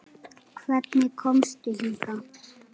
Hvernig komstu hingað?